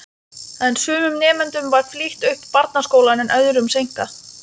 En sumum nemendum var flýtt upp barnaskólann en öðrum seinkað.